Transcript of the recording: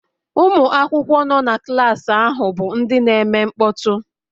Ụmụ akwụkwọ nọ na klaasị ahụ bụ ndị na-eme mkpọtụ